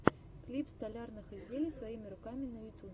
клип столярных изделий своими руками на ютубе